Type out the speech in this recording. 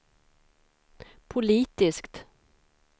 politiskt